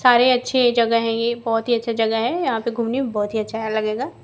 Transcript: सारे अच्छे जगह हैं ये बहोत ही अच्छा जगह है यहां पे घूमने में बहोत ही अच्छा लगेगा--